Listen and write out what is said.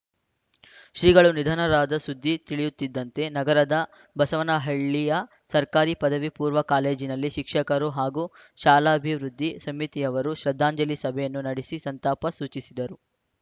ಶ್ರೀಗಳು ನಿಧನರಾದ ಸುದ್ದಿ ತಿಳಿಯುತ್ತಿದ್ದಂತೆ ನಗರದ ಬಸವನಹಳ್ಳಿಯ ಸರ್ಕಾರಿ ಪದವಿಪೂರ್ವ ಕಾಲೇಜಿನಲ್ಲಿ ಶಿಕ್ಷಕರು ಹಾಗೂ ಶಾಲಾಭಿವೃದ್ಧಿ ಸಮಿತಿಯವರು ಶ್ರದ್ಧಾಂಜಲಿ ಸಭೆಯನ್ನು ನಡೆಸಿ ಸಂತಾಪ ಸೂಚಿಸಿದರು